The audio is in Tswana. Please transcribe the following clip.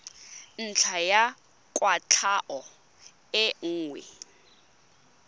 ntlha ya kwatlhao e nngwe